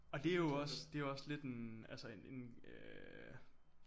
Og det er jo også det er jo også lidt en altså en øh